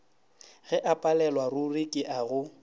ge o palelwaruri ke go